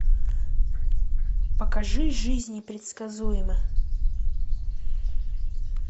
покажи жизнь непредсказуема